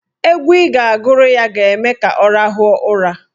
Egwu ị ga-agụrụ ya ga-eme ka ọ rahụọ ụra.